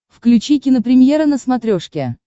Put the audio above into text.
включи кинопремьера на смотрешке